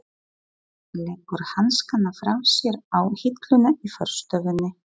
Leggur hanskana frá sér á hilluna í forstofunni.